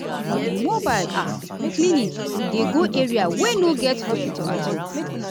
mobile ah clinic dey go area wey no get hospital at all.